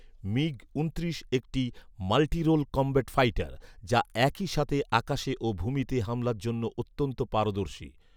MiG ঊনত্রিশ একটি multirole combat fighter যা একইসাথে আকাশে ও ভূমিতে হামলার জন্য অত্যন্ত পারদর্শী